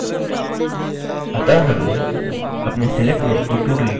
अतः हमने अपने select name को todelete में बदल दिया